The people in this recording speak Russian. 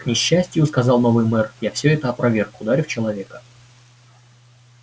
к несчастью сказал новый мэр я всё это опроверг ударив человека